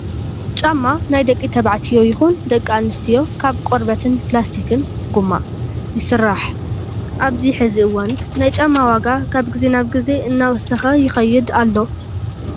ጫማ ናይ ደቂ ተባዕትዮ ይኹን ደቂ ኣንስትዮ ካብ ቆርበትን ፕላስቲክ (ጎማ) ይስራሕ። ኣብዚ ሕዚ እዋን ናይ ጫማ ዋጋ ካብ ግዘ ናብ ግዘ እናወሰኸ ይኸይድ ኣሎ።